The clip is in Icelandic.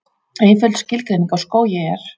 Einföld skilgreining á skógi er: